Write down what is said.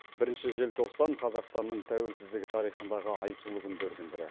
бірінші желтоқсан қазақстанның тәуелсіздігі тарихындағы айтулы күндердің бірі